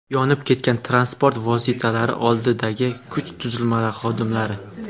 Yonib ketgan transport vositalari oldidagi kuch tuzilmalari xodimlari.